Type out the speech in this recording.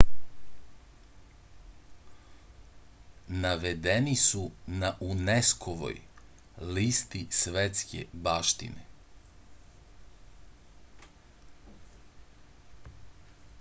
navedeni su na unesco-voj listi svetske baštine